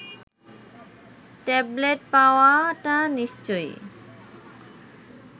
tablet পাওয়াটা নিশ্চয়ই